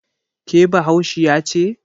ke Bahaushiya ce?